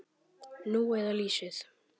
Nú eða lýsið.